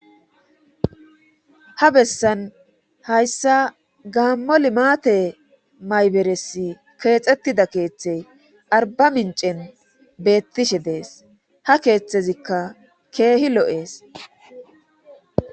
ha bessan hayssa gaammoli maate mayberesi keexettida keeththey arba mincen beettishe dees ha keeththezikka keehi lo7ees